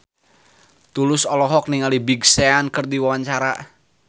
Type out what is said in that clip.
Tulus olohok ningali Big Sean keur diwawancara